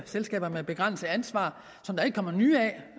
selskaber med begrænset ansvar som der ikke kommer nye